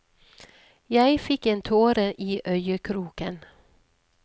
Jeg fikk en tåre i øyekroken.